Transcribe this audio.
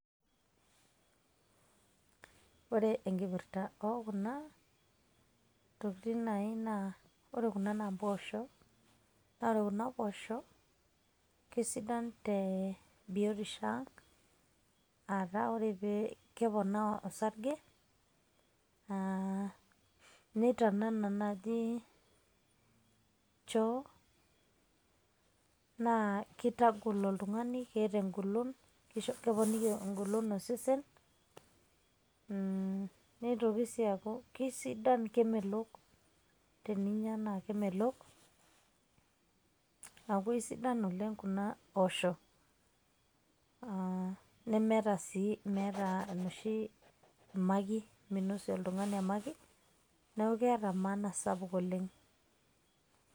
Ore enkipirta okuna, tokiting' nai naa, ore kuna na mpoosho. Na ore kuna poosho, kesidan te biotisho ang',ata ore keponaa osarge, na neitanana naji choo ,naa kitagol oltung'ani, keeta egolon. Keponiki egolon osesen, nitoki si aku kisidan kemelok, teninya na kemelok, aku aisidan oleng' kuna poosho. Ah nemeeta si inoshi meeta enoshi makit, minosie oltung'ani emakit, neeku keeta maana sapuk oleng'.